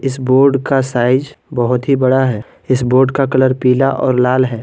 इस बोर्ड का साइज बहुत ही बड़ा है इस बोर्ड का कलर पीला और लाल है।